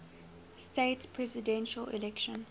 states presidential election